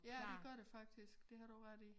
Ja det gør det faktisk det har du ret i